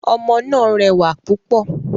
Omo náà rẹwà púpọ̀